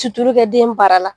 Sutulu kɛ den bara la.